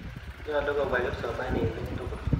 Nyalu kopwa kipsomaninik tukul.